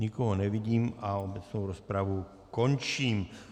Nikoho nevidím a obecnou rozpravu končím.